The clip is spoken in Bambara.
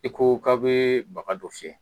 I koo k'aw bee baga dɔ fiyɛ.